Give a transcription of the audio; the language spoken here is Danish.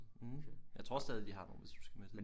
Mm jeg tror stadig de har nogen hvis du skal med til det